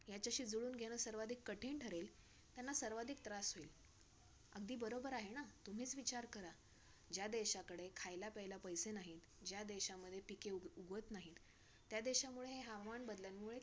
ह्याच्याशी जुळवून घेणं सर्वाधिक कठीण ठरेल. त्यांना सर्वाधिक त्रास होईल. अगदी बरोबर आहे ना? तुम्हीच विचार करा. ज्या देशाकडे खायला-प्यायला पैशे नाहीत, ज्या देशामध्ये पिके उगवत नाहीत त्या देशामुळे हवामान बदलामुळे